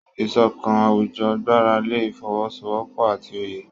Ìṣọ̀kan àwùjọ gbára lé ìfọwọ́sowọ́pọ̀ àti òye.